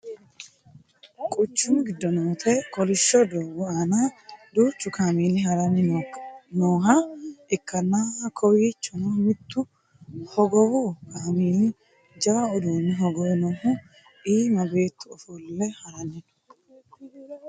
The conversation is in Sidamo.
quchumu giddo noote kolishsho doogo aana duuchu kameeli haranni nooha ikkanna kowiichono mittu hogowu kameeli jawa uduuunne hogowe noohu iima beettu ofolle harani no